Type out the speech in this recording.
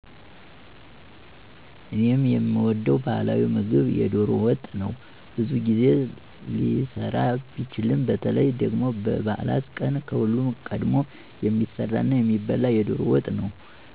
እኔ የምወደው ባህላዊ ምግብ የዶሮ ወጥ ነው። ብዙ ጊዜ ሊሰራ ቢችልም በተለይ ደግሞ በበዓላት ቀን ከሁሉም ቀድሞ የሚሰራና የሚበላው የዶሮ ወጥ ነው።